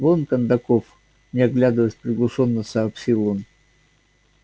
вон кондаков не оглядываясь приглушённо сообщил он